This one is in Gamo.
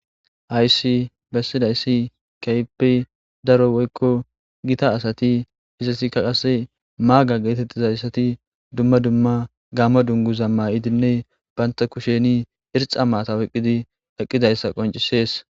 Hayissi besizasi kehippe daro woyiko githa asati maga getetizayiti duma duma gamo dunguza mayidinne banta kusheni irxa matha oyikizayisa qonc,ises